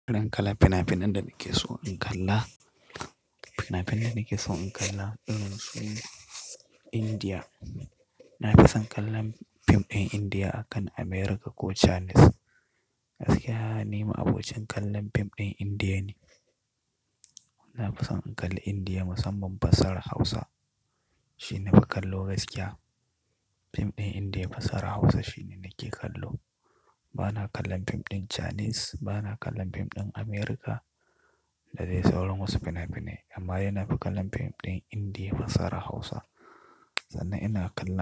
Irin kalla fina-finan da nake so in kalla. Fina-finan da nake so in kalla irin su India. Na fi son kallon fim ɗin India akan America ko Chinese. Gaskiya, ni ma'abocin kallon fim ɗin India ne. Na fi son in kalli India musamman fasahar Hausa shi nafi kallo gaskiya. Fim ɗin India fasahar Hausa shine nake kallo. Bana kallon fim ɗin Chinese, bana kallon fim ɗin America da dai sauran wasu fina-finai amman dai nafi kallon fim ɗin India fasahar Hausa. Sannan ina kalla.